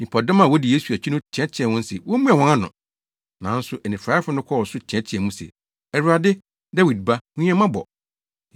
Nnipadɔm a wodi Yesu akyi no teɛteɛɛ wɔn se wommua wɔn ano. Nanso anifuraefo no kɔɔ so teɛteɛɛ mu se, “Awurade, Dawid Ba, hu yɛn mmɔbɔ!”